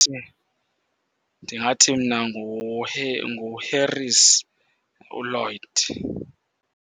Ndingathi mna nguHarris, uLloyd.